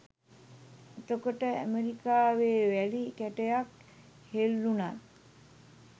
එතකොට ඇමරිකාවෙ වැලි කැටයක් හෙල්ලුණත්